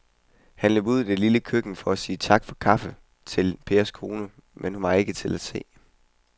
Han løb ud i det lille køkken for at sige tak for kaffe til Pers kone, men hun var ikke til at se.